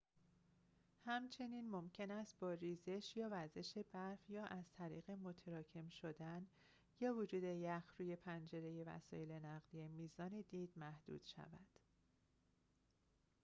همچنین ممکن است با ریزش یا وزش برف یا از طریق متراکم شدن یا وجود یخ روی پنجره وسیل نقلیه میزان دید محدود شود